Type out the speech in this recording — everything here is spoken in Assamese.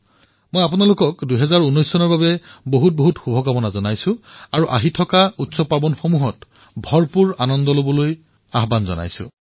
মই আপোনালোক সকলোকে ২০১৯ চনৰ বাবে অশেষ শুভকামনা যাচিছোঁ আৰু অনাগত উৎসৱসমূহত আপোনালোকে অনেক আনন্দ কৰক তাৰে কামনা কৰিছোঁ